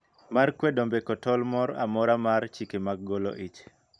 Mar kwedo mbeko tol mor amora mar chike mag golo ich.